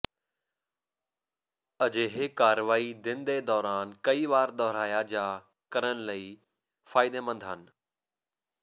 ਅਜਿਹੇ ਕਾਰਵਾਈ ਦਿਨ ਦੇ ਦੌਰਾਨ ਕਈ ਵਾਰ ਦੁਹਰਾਇਆ ਜਾ ਕਰਨ ਲਈ ਫਾਇਦੇਮੰਦ ਹਨ